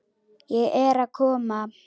Ég er að koma.